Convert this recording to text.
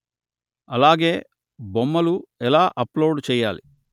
అలాగే బొమ్మలు ఎలా అప్లోడు చెయ్యాలి